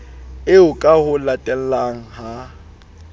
eo ka ho latellana ha